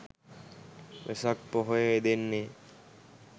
වෙසක් පොහොය යෙදෙන්නේ